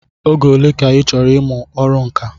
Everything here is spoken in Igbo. Oge ole ka ịchọrọ ịmụ ọrụ nka?